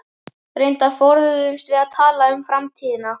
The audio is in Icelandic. Reyndar forðuðumst við að tala um framtíðina.